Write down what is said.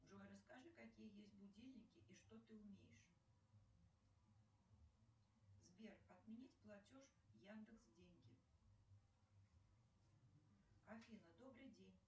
джой расскажи какие есть будильники и что ты умеешь сбер отменить платеж яндекс деньги афина добрый день